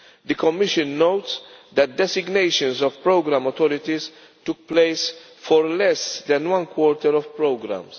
The Commission notes that designations of programme authorities took place for less than one quarter of programmes.